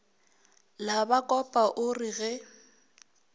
la bakopa o re ge